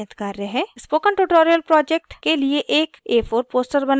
* spoken tutorial project के लिए एक a4 poster बनाएं